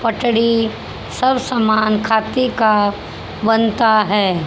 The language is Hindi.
पटरी सब सामान खादी का बनता है।